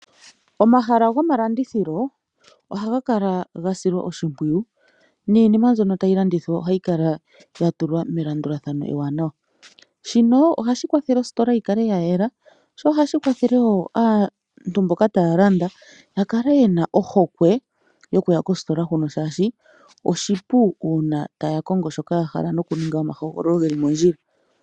Omahala gomalandithilo ohaga kala gasilwa oshimpwuyu, niinima mbyono tayi landithwa ohayi kala yatulwa melandulathano ewanawa. Shino ohashi kwathele ositola yikale ya yela, sho ohashi kwathele woo aantu mboka taya landa yakale yena ohokwe yokuya kositola hoka, shaashi oshipu uuna taya kongo shoka yahala nokuninga omahogololo geli mondjila.